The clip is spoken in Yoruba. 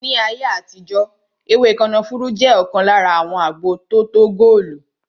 Ní ayé àtijó ewé kànáfùrú jẹ ọkan lára àwọn agbo tótó góòlù